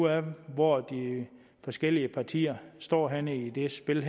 af hvor de forskellige partier står henne i det her spil